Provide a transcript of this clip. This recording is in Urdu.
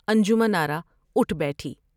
انجمن آرا اٹھ بیٹھی ۔